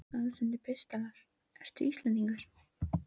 Aðsendir pistlar Ertu Íslendingur?